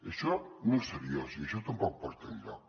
això no és seriós i això tampoc porta enlloc